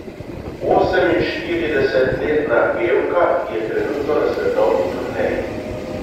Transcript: Oseminštiridesetletna pevka je trenutno na svetovni turneji.